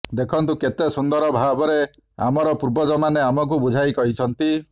ଦେଖନ୍ତୁ କେତେ ସୁନ୍ଦର ଭାବରେ ଆମର ପୂର୍ବଜମାନେ ଆମକୁ ବୁଝାଇ କହିଛନ୍ତି